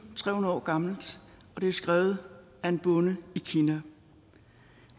tre hundrede år gammelt og det er skrevet af en bonde i kina